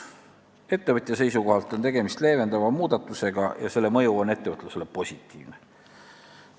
Ettevõtja seisukohalt on tegemist leevendava muudatusega ja selle mõju on ettevõtlusele positiivne.